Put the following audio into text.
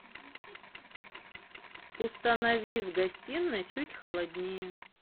установи в гостиной чуть холоднее